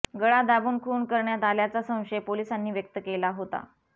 गळा दाबून खून करण्यात आल्याचा संशय पोलीसांनी व्यक्त केला होता